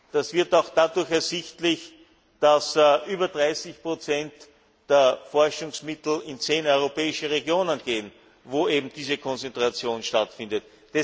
Das wird auch dadurch ersichtlich, dass über 30 der Forschungsmittel in zehn europäische Regionen gehen, wo eben diese Konzentration stattfindet.